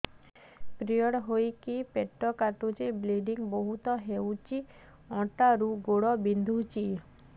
period ହୋଇକି ପେଟ କାଟୁଛି ବ୍ଲିଡ଼ିଙ୍ଗ ବହୁତ ହଉଚି ଅଣ୍ଟା ରୁ ଗୋଡ ବିନ୍ଧୁଛି